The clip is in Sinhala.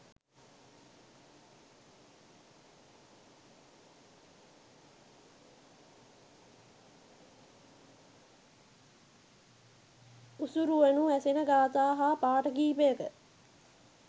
උසුරුවනු ඇසෙන ගාථා හා පාඨ කිහිපයක